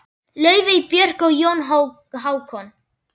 Laufey, Björg og Jón Hákon.